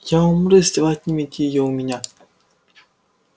я умру если вы отнимете её у меня